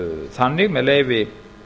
þannig með leyfi